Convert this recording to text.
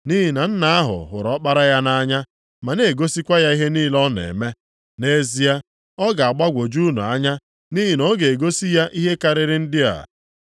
Nʼihi na Nna ahụ hụrụ Ọkpara ya nʼanya ma na-egosikwa ya ihe niile ọ na-eme. Nʼezie ọ ga-agbagwoju unu anya nʼihi na ọ ga-egosi ya ihe karịrị ndị a.